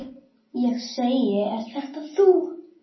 Mér er eiður sær.